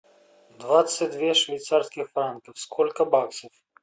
двадцать две швейцарских франка сколько баксов